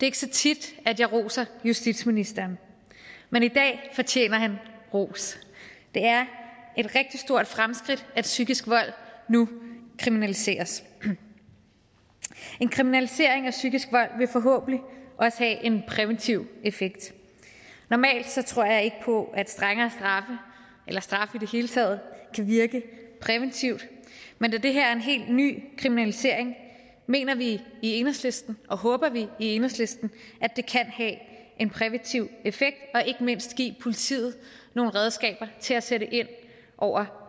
ikke så tit at jeg roser justitsministeren men i dag fortjener han ros det er et rigtig stort fremskridt at psykisk vold nu kriminaliseres en kriminalisering af psykisk vold vil forhåbentlig også have en præventiv effekt normalt tror jeg ikke på at strengere straffe eller straffe i det hele taget kan virke præventivt men da det her er en helt ny kriminalisering mener vi i enhedslisten og håber vi i enhedslisten at en præventiv effekt og ikke mindst give politiet nogle redskaber til at sætte ind over